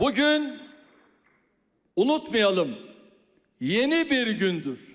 Bu gün unutmayaq, yeni bir gündür.